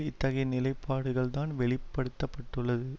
இத்தகைய நிலைப்பாடுகள்தான் வெளி படுத்த பட்டுள்ளது